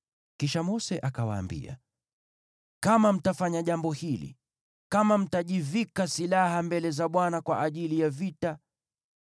Kisha Mose akawaambia, “Kama mtafanya jambo hili, kama mtajivika silaha mbele za Bwana kwa ajili ya vita,